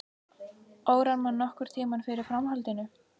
Órar mann nokkurn tímann fyrir framhaldinu.